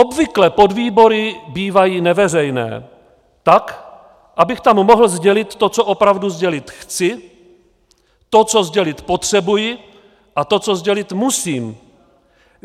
Obvykle podvýbory bývají neveřejné, tak abych tam mohl sdělit to, co opravdu sdělit chci, to, co sdělit potřebuji a to, co sdělit musím.